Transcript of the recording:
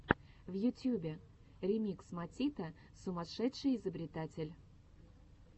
в ютьюбе ремикс матита сумасшедший изобретатель